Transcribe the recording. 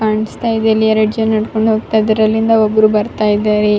ಕಾಣ್ಸ್ತ ಇದೆ ಇಲಿ ಎರ್ಡ್ ಜನ ನಡ್ಕೊಂಡ್ ಹೋಗ್ತಾ ಇದಾರೆ ಅಲ್ಲಿಂದ ಒಬ್ರು ಬರ್ತಾ ಇದಾರೆ.